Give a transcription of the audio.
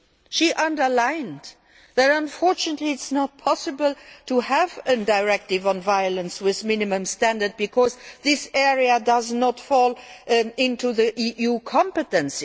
She underlined that, unfortunately, it is not possible to have a directive on violence with minimum standards because this area does not fall within the EU's competence.